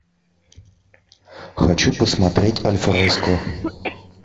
хочу посмотреть альфреско